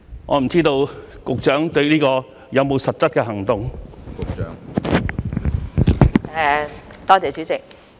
"我不知道局長就此有否實質的行動。